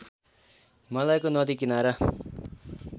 हिमालयको नदी किनारा